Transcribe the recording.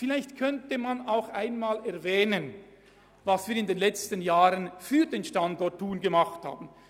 Vielleicht könnte man auch einmal erwähnen, was wir in den letzten Jahren für den Standort Thun getan haben.